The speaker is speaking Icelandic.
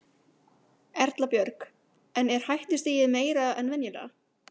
Erla Björg: En er hættustigið meira en venjulega?